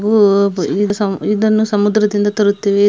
ಇವು ಈ ಇದನ್ನು ಸಮುದ್ರದಿಂದ ತರುತ್ತೇವೆ.